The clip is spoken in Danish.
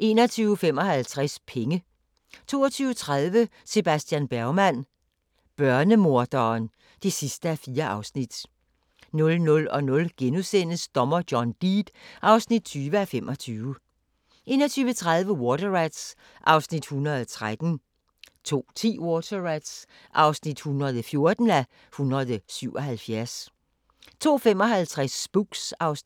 21:55: Penge 22:30: Sebastian Bergman: Børnemorderen (4:4) 00:00: Dommer John Deed (20:25)* 01:30: Water Rats (113:177) 02:10: Water Rats (114:177) 02:55: Spooks (Afs.